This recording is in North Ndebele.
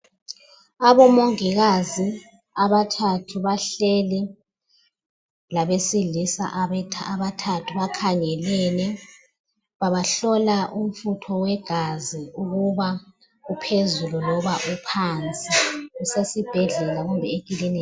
Abomongikazi abathathu abahleli labesilisa abathathu bakhangele babahlola umfutho wegaza ukuba uphezulu noba uphansi usesibheka kumbe eklinika